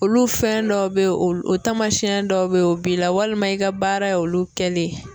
Olu fɛn dɔw bɛ ye olu tamasiyɛn dɔw bɛ yen o b'i la walima i ka baara ye olu kɛlen.